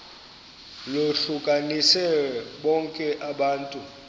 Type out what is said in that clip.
lohlukanise bonke abantu